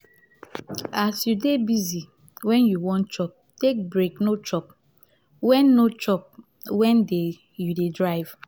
as you dey busy when you wan chop take break no chop when no chop when you dey drive